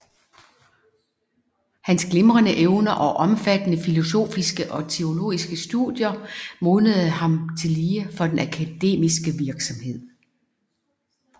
Hans glimrende evner og omfattende filosofiske og teologiske studier modnede ham tillige for den akademiske virksomhed